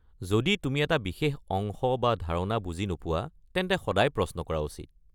যদি তুমি এটা বিশেষ অংশ বা ধাৰণা বুজি নোপোৱা তেন্তে সদায় প্ৰশ্ন কৰা উচিত।